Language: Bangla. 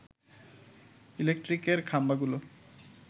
ইলেকট্রিকের খাম্বাগুলো